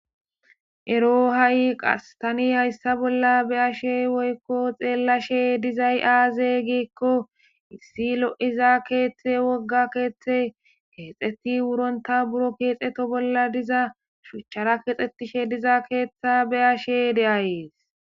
ero ha7i qastani hayssa bolla be ashe woykko xeellashe dizay aaze giikko issi lo7iza keeththe wogga keeththe keexeti wuronta buro keexeto bolla diza shuchchara kexxetishe diza keeththa be ashe deayees